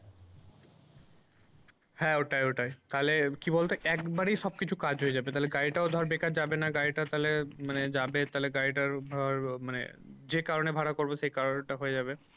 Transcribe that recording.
হ্যাঁ ওটাই ওটাই তাহলে কি বলতো একবারেই সব কিছু কাজ হয়ে যাবে তাহলে গাড়িটাও ধর বেকার যাবে না গাড়িটা তাহলে মানে যাবে তাহলে গাড়িটার ধর মানে যে কারণে ভাড়া করবো সে কারণটা হয়ে যাবে।